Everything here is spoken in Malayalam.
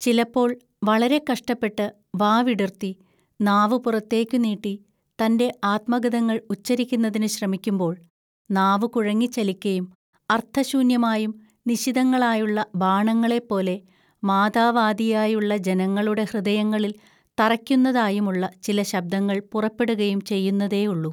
ചിലപ്പോൾ വളരെ കഷ്ടപ്പെട്ട് വാ വിടുർത്തി, നാവു പുറത്തേക്കു നീട്ടി, തന്റെ ആത്മഗതങ്ങൾ ഉച്ചരിക്കുന്നതിനു ശ്രമിക്കുമ്പോൾ നാവു കുഴങ്ങി ചലിക്കയും, അർത്ഥശൂന്യമായും നിശിതങ്ങളായുള്ള ബാണങ്ങളെപ്പോലെ മാതാവാദിയായുള്ള ജനങ്ങളുടെ ഹൃദയങ്ങളിൽ തറയ്ക്കുന്നതായുമുള്ള ചില ശബ്ദങ്ങൾ പുറപ്പെടുകയും ചെയ്യുന്നതേയുള്ളു